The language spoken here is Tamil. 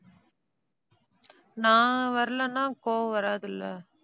நான் வரலைன்னா கோபம் வராது இல்லை